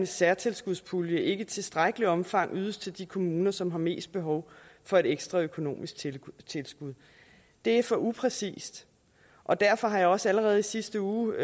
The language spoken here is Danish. særtilskudspulje ikke i tilstrækkeligt omfang ydes til de kommuner som har mest behov for et ekstra økonomisk tilskud det er for upræcist og derfor har jeg også allerede i sidste uge